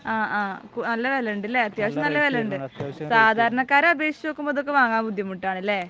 ആ ആ നല്ല വിലയുണ്ട് അല്ലേ? അത്യാവശ്യം നല്ല വിലയുണ്ട്. സാധാരണക്കാരെ അപേക്ഷിച്ച് നോക്കുമ്പോൾ ഇതൊക്കെ വാങ്ങാൻ ബുദ്ധിമുട്ടാണ് അല്ലേ?